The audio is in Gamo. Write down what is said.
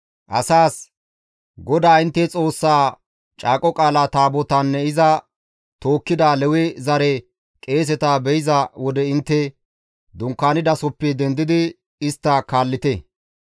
asaas, «GODAA intte Xoossaa Caaqo Qaalaa Taabotaanne iza tookkida Lewe zare qeeseta be7iza wode intte dunkaanidasoppe dendidi istta kaallite.